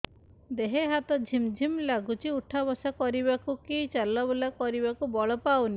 ଦେହେ ହାତ ଝିମ୍ ଝିମ୍ ଲାଗୁଚି ଉଠା ବସା କରିବାକୁ କି ଚଲା ବୁଲା କରିବାକୁ ବଳ ପାଉନି